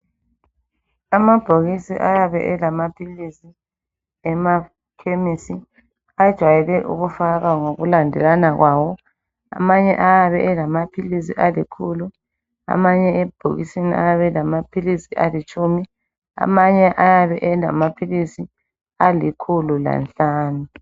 Amabhokisi ayabe elamaphilisi emakhemesi ajwayele ukufakwa ngokulandelana kwawo. Amanye ayabe elamaphilisi alikhulu, amanye ebhokisini ayabe elamaphilisi alitshumi, amanye ayabe elamaphilisi alikhulu lanhlanu.